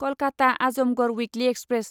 Kolkata Azamgarh weekly express